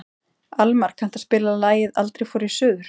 Almar, kanntu að spila lagið „Aldrei fór ég suður“?